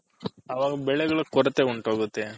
ಅವಾಗ ಬೆಳೆಗಳ ಕೊರತೆ ಉಂಟಾಗುಥೆ